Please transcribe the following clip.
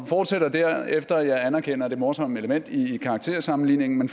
fortsætter derefter og jeg anerkender det morsomme element i karaktersammenligningen